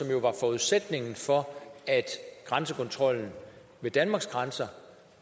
jo var forudsætningen for at grænsekontrollen ved danmarks grænser